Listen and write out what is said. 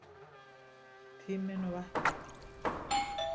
Tíminn og vatnið.